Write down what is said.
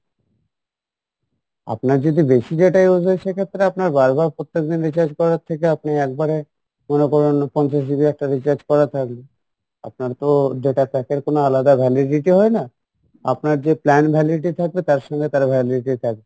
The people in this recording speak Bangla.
আপনার যদি বেশি data use হয় সেক্ষেত্রে আপনার বারবার প্রত্যেকদিন recharge করার থেকে আপনি এক বারে মনে করেন পঞ্চাশ GB একটা recharge করা থাকলো আপনার তো data pack এর কোনো আলাদা validity হয় না আপনার যে plan validity থাকবে তার সঙ্গে তার validity থাকবে